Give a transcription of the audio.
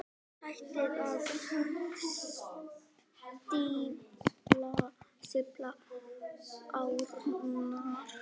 Hættið að stífla árnar.